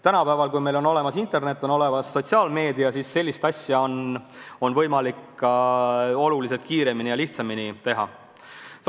Tänapäeval, kui on olemas internet, on olemas sotsiaalmeedia, on selliseid asju võimalik oluliselt kiiremini ja lihtsamini teha.